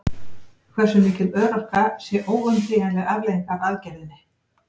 Hversu mikil örorka sé óumflýjanleg afleiðing af aðgerðinni?